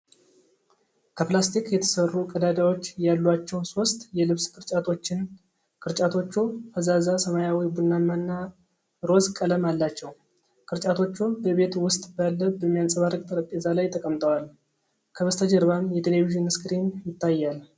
ከፕላስቲክ የተሠሩ፣ ቀዳዳዎች ያሏቸው ሦስት የልብስ ቅርጫቶችን ። ቅርጫቶቹ ፈዛዛ ሰማያዊ፣ ቡናማና ሮዝ ቀለም አላቸው። ቅርጫቶቹ በቤት ውስጥ ባለ በሚያንጸባርቅ ጠረጴዛ ላይ ተቀምጠዋል፤ ከበስተጀርባም የቴሌቪዥን ስክሪን ይታያል።